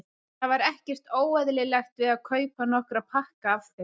Það var ekkert óeðlilegt við að kaupa nokkra pakka af þeim.